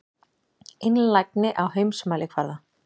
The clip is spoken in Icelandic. Einlægni á heimsmælikvarða.